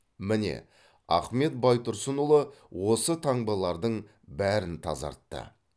міне ахмет байтұрсынұлы осы таңбалардың бәрін тазартты